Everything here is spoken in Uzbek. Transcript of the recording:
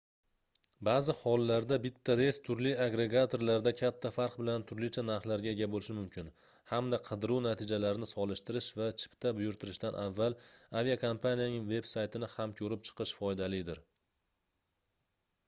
baʼzi hollarda bitta reys turli agregatorlarda katta farq bilan turlicha narxlarga ega boʻlishi mumkin hamda qidiruv natijalarini solishtirish va chipta buyurtirishdan avval aviakompaniyaning veb-saytini ham koʻrib chiqish foydalidir